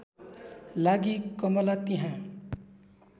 लागि कमला त्यहाँ